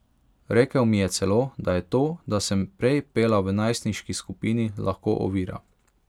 Rekel mi je celo, da je to, da sem prej pela v najstniški skupini, lahko ovira.